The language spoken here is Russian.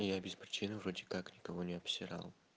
и я без причины вроде как никого не обсирал